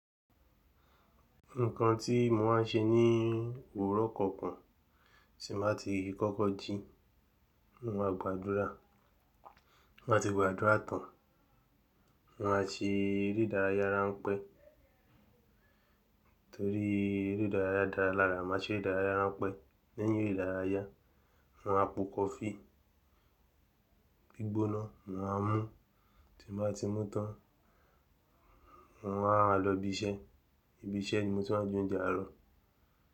Nǹkan tí mo máa ń ṣe ní òwúrọ̀ kọ̀ọ̀kan, tí mo bá ti kọ́kọ́ jí, mo máa gbàdúrà, mo máa ti gbàdúrà tán, mo máa ṣe eré ìdárayá ránpẹ́ torí eré ìdárayá dára lára, màá ṣe eré ìdárayá ránpẹ́ lẹ́yìn eré ìdárayá, mo máa po kọfí gbígbóná, mo máa mú tí mo bá ti mú tán, mo wá màa lọ ibi iṣẹ́, ibi iṣẹ́ ni mo ti máa je oúnjẹ àárọ̀.